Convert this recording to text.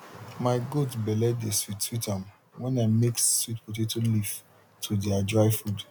my goat belle de sweet sweet am when i mix sweet potato leaf to their dry food